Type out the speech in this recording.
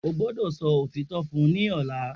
O gbọdọ sọ otitọ fun u ni ọla!